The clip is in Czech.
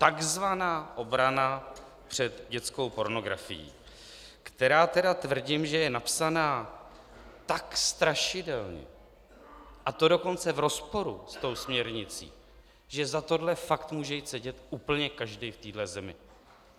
Takzvaná obrana před dětskou pornografií, která tedy tvrdím, že je napsaná tak strašidelně, a to dokonce v rozporu s tou směrnicí, že za tohle fakt může jít sedět úplně každý v téhle zemi.